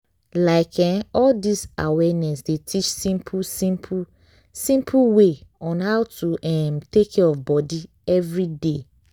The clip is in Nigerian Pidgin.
like eh all dis awareness dey teach simple simple simple way on how to um take care of body everyday.